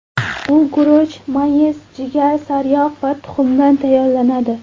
U guruch, mayiz, jigar, sariyog‘ va tuxumdan tayyorlanadi.